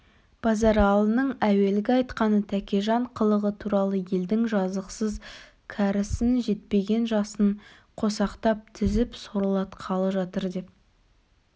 базаралының әуелгі айтқаны тәкежан қылығы туралы елдің жазықсыз кәрісін жетпеген жасын қосақтап тізіп сорлатқалы жатыр деп